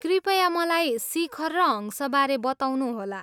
कृपया मलाई शिखर र हंसबारे बताउनुहोला।